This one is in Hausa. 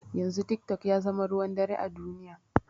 Yanzu tik tok yazama ruwan dare a duniya